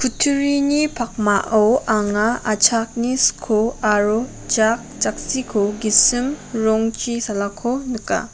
kutturini pakmao anga achaknin sko aro jak jaksiko gisim rongchi salako nika.